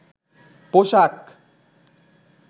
পোশাক